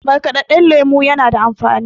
markadadden lemo yana da amfani